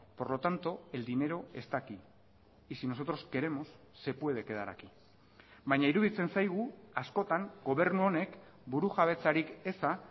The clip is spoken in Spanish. por lo tanto el dinero está aquí y si nosotros queremos se puede quedar aquí baina iruditzen zaigu askotan gobernu honek burujabetzarik eza